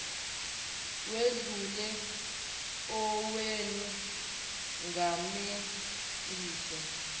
wedlule owenu ngamalengiso